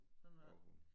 Gravhund